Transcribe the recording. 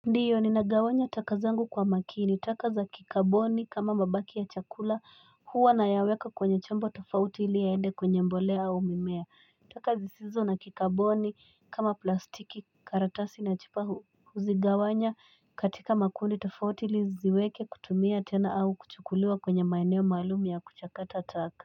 Ndiyo, ninagawanya taka zangu kwa makini, taka za kikaboni kama mabaki ya chakula, huwa nayaweka kwenye chombo tofauti ili yaende kwenye mbolea au mimea. Taka zisizo na kikaboni kama plastiki, karatasi na chupa huzigawanya katika makundi tofauti ili niziweke kutumia tena au kuchukuliwa kwenya maeneo maalum ya kuchakata taka.